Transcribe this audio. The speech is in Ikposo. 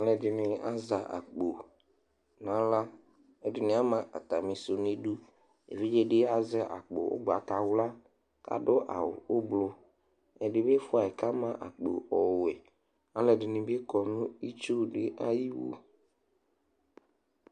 aloɛdini azɛ akpo n'ala ɛdini ama atami sò n'idu evidze di azɛ akpo ugbata wla k'ado awu ublɔ ɛdibi fua yi k'ama akpo ɔwɔ aloɛdini bi kɔ n'itsu di ayiwu